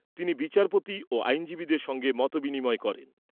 তিনি বিচারপতি ও আইনজীবিদের সঙ্গে মতবিনিময় করেন।